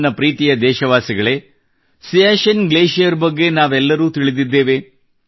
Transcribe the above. ನನ್ನ ಪ್ರೀತಿಯ ದೇಶವಾಸಿಗಳೇ ಸಿಯಾಚಿನ್ ಗ್ಲೇಷಿಯರ್ ಬಗ್ಗೆ ನಾವೆಲ್ಲರೂ ತಿಳಿದಿದ್ದೇವೆ